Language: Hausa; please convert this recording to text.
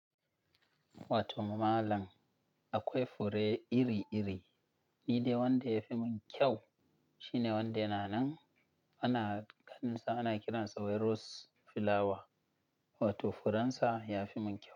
Wato malam, akwai fure iri-iri. Ni dai wanda yafi mun kyau shine wanda yana nan ana kaɗinsa ana kiransa rose flower. Wato furensa yafi mun kyau.